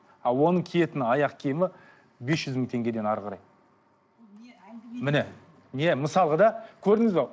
а оның киетін аяқ киімі бес жүз мың теңгеден әрі қарай міне иә мысалға да көрдіңіз бе